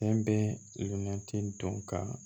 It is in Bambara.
Fɛn bɛɛ nne dɔn ka